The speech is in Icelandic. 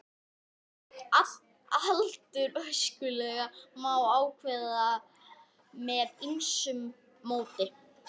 Aldur öskulaga má ákveða með ýmsu móti.